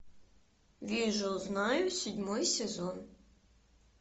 вижу знаю седьмой сезон